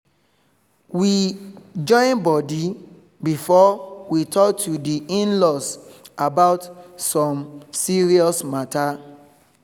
we join body before we talk to di in-laws about some serious matter